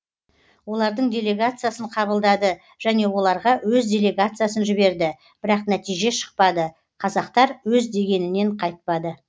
олардың делегациясын қабылдады және оларга өз делегациясын жіберді бірақ нәтиже шықпады қазақтар өз дегенінен қайтпады